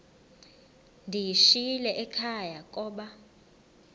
ndiyishiyile ekhaya koba